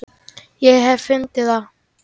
Ég hef fundið það!